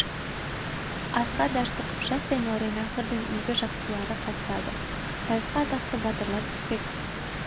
асқа дәшті қыпшақ пен мауреннахрдың игі жақсылары қатысады сайысқа атақты батырлар түспек